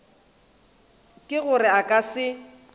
ke gore a ka se